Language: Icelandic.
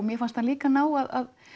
mér fannst hann líka ná að